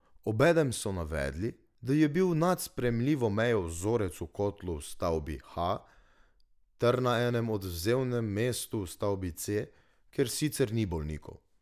Obenem so navedli, da je bil nad sprejemljivo mejo vzorec v kotlu v stavbi H ter na enem odvzemnem mestu v stavbi C, kjer sicer ni bolnikov.